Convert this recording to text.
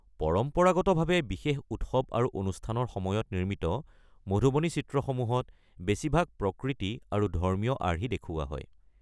পৰম্পৰাগতভাৱে বিশেষ উৎসৱ আৰু অনুষ্ঠানৰ সময়ত নিৰ্মিত, মধুবনী চিত্ৰসমূহত বেছিভাগ প্ৰকৃতি আৰু ধৰ্মীয় আৰ্হি দেখুওৱা হয়।